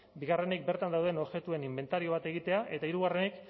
bigarrenik bertan dauden objektuen inbentario bat egitea eta hirugarrenik